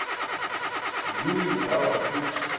юрий маланчук